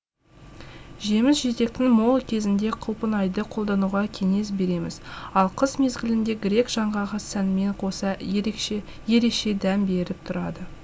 жеміс жидектің мол кезінде құлпынайды қолдануға кеңес береміз ал қыс мезгілінде грек жаңғағы сәнмен қоса ереше дәм беріп тұрады